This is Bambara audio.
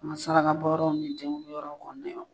An ka saraka yɔrɔw ni denkundi yɔrɔ